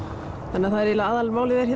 þannig að eiginlega aðalmálið er